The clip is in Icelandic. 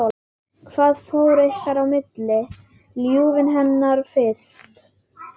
Hvað fór ykkar í milli?